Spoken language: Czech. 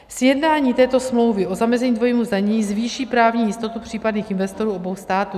Sjednání této smlouvy o zamezení dvojímu zdanění zvýší právní jistotu případných investorů obou států.